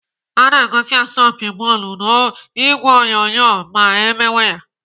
Ana egosi asọmpi bọọlụ n'ìgwè onyonyo ma emewe ya.